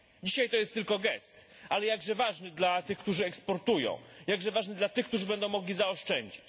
Dzisiaj to jest tylko gest, ale jakże ważny dla tych, którzy eksportują, jakże ważny dla tych, którzy będą mogli zaoszczędzić.